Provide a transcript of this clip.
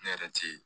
Ne yɛrɛ ti